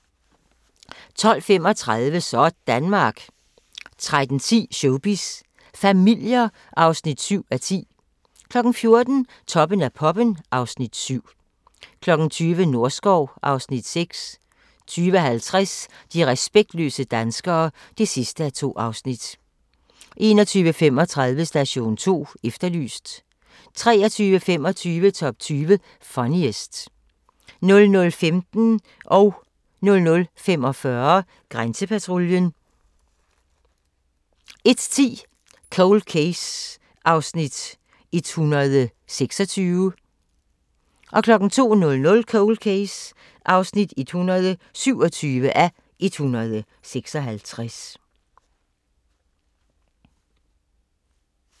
12:35: Sådanmark 13:10: Showbiz familier (7:10) 14:00: Toppen af poppen (Afs. 7) 20:00: Norskov (Afs. 6) 20:50: De respektløse danskere (2:2) 21:35: Station 2 Efterlyst 23:25: Top 20 Funniest 00:15: Grænsepatruljen 00:45: Grænsepatruljen 01:10: Cold Case (126:156)